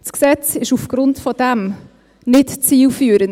Das Gesetz ist aufgrund dessen nicht zielführend.